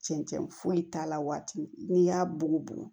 Cɛncɛn foyi t'a la waati min n'i y'a bugubugu